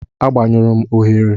Agbanyụrụ m oghere.